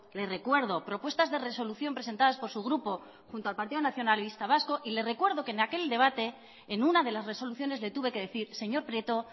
le recuerdo propuestas de resolución presentadas por su grupo junto al partido nacionalista vasco y le recuerdo que en aquel debate en una de las resoluciones le tuve que decir señor prieto